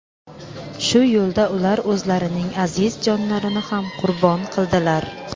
Shu yo‘lda ular o‘zlarining aziz jonlarini ham qurbon qildilar.